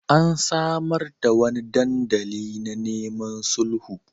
An samar da wani dandali na neman sulhu.